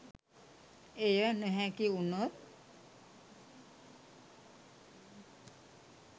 එය නොහැකි වුනොත්